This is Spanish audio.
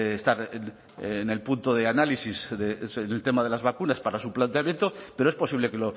estar en el punto de análisis en el tema de las vacunas para su planteamiento pero es posible que